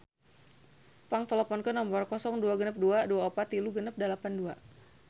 Pang teleponkeun nomer 0262 243682